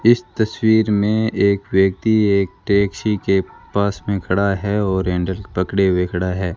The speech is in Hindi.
इस तस्वीर में एक व्यक्ति एक टैक्सी के पास में खड़ा है और हैंडल पकड़े हुए खड़ा है।